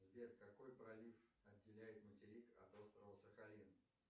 сбер какой пролив отделяет материк от острова сахалин